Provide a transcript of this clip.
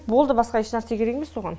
болды басқа еш нәрсе керек емес оған